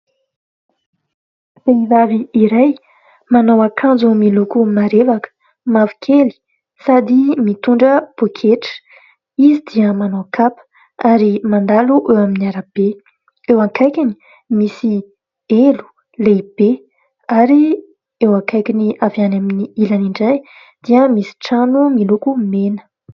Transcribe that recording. Vehivavy iray manao akanjo miloko marevaka mavokely sady mitondra poketra. Izy dia manao kapa ary mandalo eo amin'ny arabe. Eo akaikiny misy elo lehibe ary eo akaikiny avy any amin'ny ilany indray dia misy trano miloko mena.